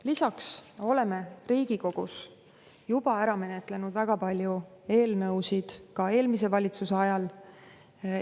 Lisaks oleme Riigikogus juba ära menetlenud väga palju eelnõusid ka eelmise valitsuse ajal.